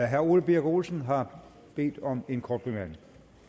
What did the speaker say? herre ole birk olesen har bedt om en kort bemærkning